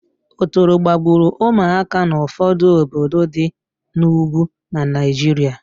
Otoro gbagburu ụmụaka n'ụfọdụ obodo di n'Ugwu na Naịjiria